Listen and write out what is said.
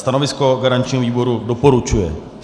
Stanovisko garančního výboru: doporučuje.